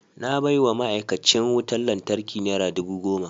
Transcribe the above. Na baiwa ma’aikacin wutar lantarki nera dubu goma.